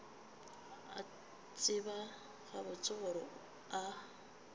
a tseba gabotse gore a